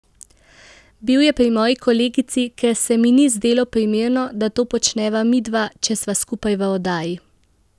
Bil je pri moji kolegici, ker se mi ni zdelo primerno, da to počneva midva, če sva skupaj v oddaji.